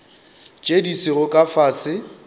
tše di sego ka fase